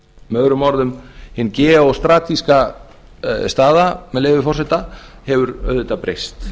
með öðrum orðum hin geostratiska staða með leyfi forseta hefur auðvitað breyst